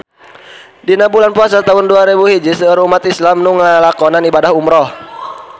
Dina bulan Puasa taun dua rebu hiji seueur umat islam nu ngalakonan ibadah umrah